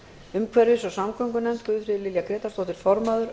umhverfis og samgöngunefnd guðfríður lilja grétarsdóttir formaður